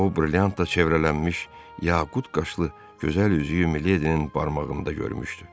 O, brilyantla çevrələnmiş yaqut qaşlı gözəl üzüyü Miledinin barmağında görmüşdü.